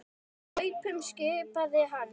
Hlaupum skipaði hann.